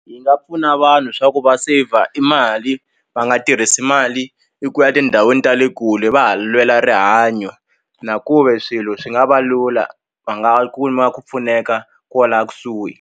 Yi nga pfuna vanhu swa ku va saver i mali va nga tirhisi mali eku ya etindhawini ta le kule va ha lwela rihanyo na ku ve swilo swi nga va lula va nga kuma ku pfuneka kwala kusuhi.